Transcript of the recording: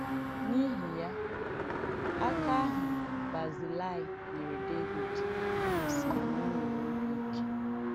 N’ìhí ya, àkà àhụ̀ Bazilaị nyèrè Dévìd gosìrì nà o nwèrè òbí ìkè.